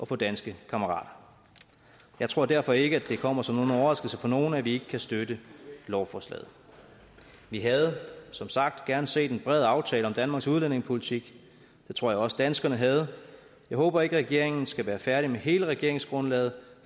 får danske kammerater jeg tror derfor ikke at det kommer som en overraskelse for nogen at vi ikke kan støtte lovforslaget vi havde som sagt gerne set en bred aftale om danmarks udlændingepolitik det tror jeg også danskerne havde jeg håber ikke at regeringen skal være færdig med hele regeringsgrundlaget